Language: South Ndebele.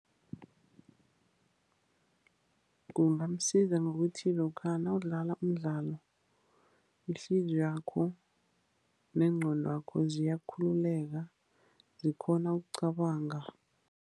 Kungamsiza ngokuthi lokha nawudlala umdlalo, ihliziyo yakho nengqondo yakho ziyakhululeka, zikghone ukucabanga.